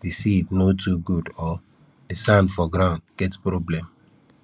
di seed no too good or di sand for ground get problem